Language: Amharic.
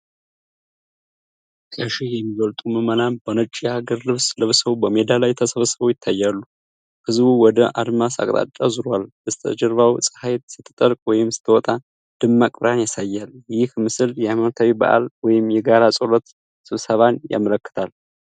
ከሺህ የሚበልጡ ምዕመናን በነጭ የሀገር ልብስ ለብሰው በሜዳ ላይ ተሰብስበው ይታያሉ። ህዝቡ ወደ አድማስ አቅጣጫ ዞሯል፤ በስተጀርባውም ፀሐይ ስትጠልቅ ወይም ስትወጣ ደማቅ ብርሃን ያሳያል። ይህ ምስል የሃይማኖታዊ በዓልን ወይም የጋራ ጸሎት ስብሰባን ያመለክታል።